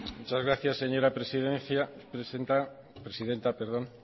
muchas gracias señora presidenta